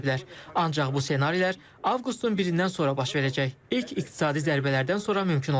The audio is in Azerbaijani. Ancaq bu ssenarilər Avqustun 1-dən sonra baş verəcək ilk iqtisadi zərbələrdən sonra mümkün olacaq.